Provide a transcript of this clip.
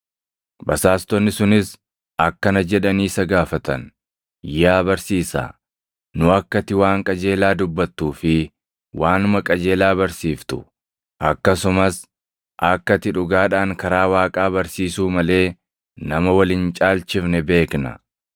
Basaastonni sunis akkana jedhanii isa gaafatan; “Yaa Barsiisaa, nu akka ati waan qajeelaa dubbatuu fi waanuma qajeelaa barsiiftu, akkasumas akka ati dhugaadhaan karaa Waaqaa barsiisuu malee nama wal hin caalchifne beekna.